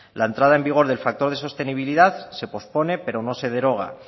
la entrada en vigor del factor de sostenibilidad se pospone pero no se deroga